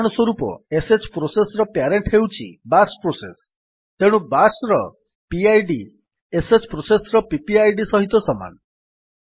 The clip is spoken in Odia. ଉଦାହରଣସ୍ୱରୂପ ଶ୍ ପ୍ରୋସେସ୍ ର ପ୍ୟାରେଣ୍ଟ୍ ହେଉଛି ବାଶ୍ ପ୍ରୋସେସ୍ ତେଣୁ ବାଶ୍ ର ପିଡ୍ ଶ୍ ପ୍ରୋସେସ୍ ର ପିପିଆଇଡି ସହିତ ସମାନ